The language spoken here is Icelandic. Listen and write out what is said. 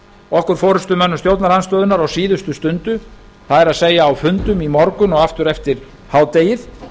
okkur forustumönnum stjórnarandstöðunnar á síðustu stundu það er á fundum í morgun og aftur eftir hádegið